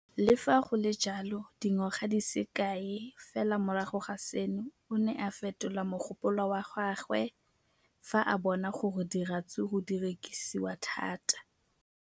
Le fa go le jalo, dingwaga di se kae fela morago ga seno, o ne a fetola mogopolo wa gagwe fa a bona gore diratsuru di rekisiwa thata.